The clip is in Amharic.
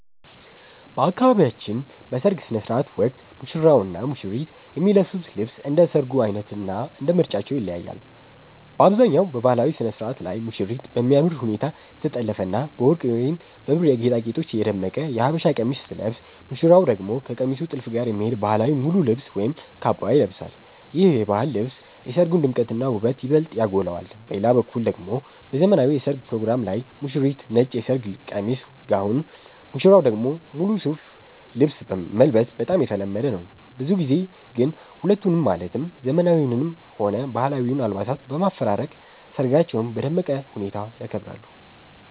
በአካባቢያችን በሰርግ ሥነ ሥርዓት ወቅት ሙሽራውና ሙሽሪት የሚለብሱት ልብስ እንደ ሰርጉ ዓይነትና እንደ ምርጫቸው ይለያያል። በአብዛኛው በባህላዊው ሥነ ሥርዓት ላይ ሙሽሪት በሚያምር ሁኔታ የተጠለፈና በወርቅ ወይም በብር ጌጣጌጦች የደመቀ የሀበሻ ቀሚስ ስትለብስ፣ ሙሽራው ደግሞ ከቀሚሱ ጥልፍ ጋር የሚሄድ ባህላዊ ሙሉ ልብስ ወይም ካባ ይለብሳል። ይህ የባህል ልብስ የሰርጉን ድምቀትና ውበት ይበልጥ ያጎላዋል። በሌላ በኩል ደግሞ በዘመናዊው የሠርግ ፕሮግራም ላይ ሙሽሪት ነጭ የሰርግ ቀሚስ (ጋውን)፣ ሙሽራው ደግሞ ሙሉ ሱፍ ልብስ መልበስ በጣም የተለመደ ነው። ብዙ ጊዜ ግን ሁለቱንም ማለትም ዘመናዊውንም ሆነ ባህላዊውን አልባሳት በማፈራረቅ ሰርጋቸውን በደመቀ ሁኔታ ያከብራሉ።